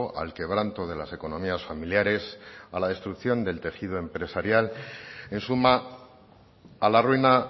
al quebranto de las economías familiares a la destrucción del tejido empresarial en suma a la ruina